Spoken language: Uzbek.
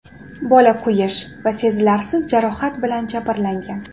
Bola kuyish va sezilarsiz jarohat bilan jabrlangan.